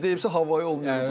100 deyibsə havayı olmayacaq.